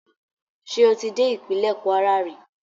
Ṣé o ti dé ìpínlẹ̀ Kwara rí?